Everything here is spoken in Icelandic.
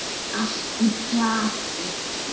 Allt í plati.